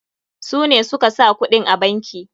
Su ne suka sa kuɗin a banki.